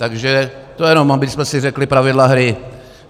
Takže to jenom abychom si řekli pravidla hry.